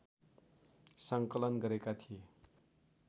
सङ्कलन गरेका थिए